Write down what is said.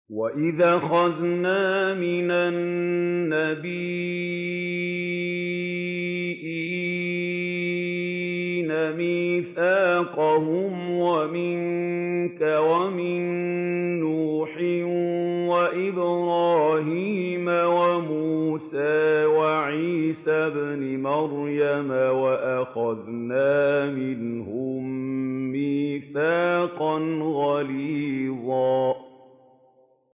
وَإِذْ أَخَذْنَا مِنَ النَّبِيِّينَ مِيثَاقَهُمْ وَمِنكَ وَمِن نُّوحٍ وَإِبْرَاهِيمَ وَمُوسَىٰ وَعِيسَى ابْنِ مَرْيَمَ ۖ وَأَخَذْنَا مِنْهُم مِّيثَاقًا غَلِيظًا